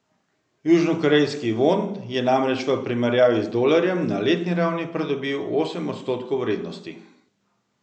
Južnokorejski von je namreč v primerjavi z dolarjem na letni ravni pridobil osem odstotkov vrednosti.